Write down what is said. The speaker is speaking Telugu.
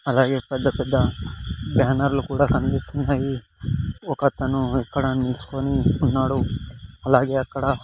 అలాగే పెద్ద పెద్ద బ్యానర్లు కూడా కనిపిస్తున్నాయి ఒకతను ఇక్కడ నీల్చొని ఉన్నాడు అలాగే అక్కడ--